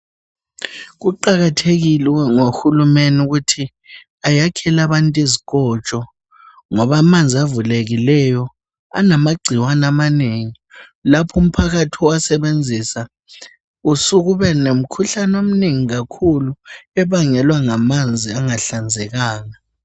Kuqakathekile ukuba nguhulumene ukuthi ayakhele abantu izikotsho ngoba amanzi avulekile anamagcikwane amanengi lapho umphakathi uwasebenzisa usuka ubelomkhuhlane omnengi kakhulu abangelwa ngamanzi angahlanzekanga.